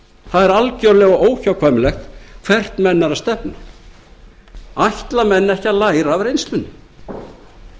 það er algerlega óhjákvæmilegt hvert menn eru að stefna ætla menn ekki að læra af reynslunni ég ætla